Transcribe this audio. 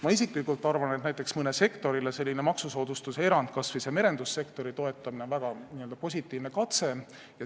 Ma isiklikult arvan, et näiteks mõnele sektorile maksusoodustuse erandi kehtestamine, kas või see merendussektori toetamine, on väga positiivne katse.